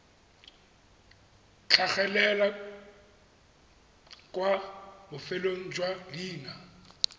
tlhagelela kwa bofelong jwa leina